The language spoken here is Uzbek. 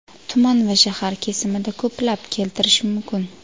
tuman va shahar kesimida ko‘plab keltirish mumkin.